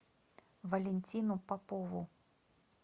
валентину попову